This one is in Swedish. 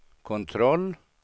kontroll